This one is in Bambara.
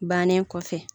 Bannen kɔfɛ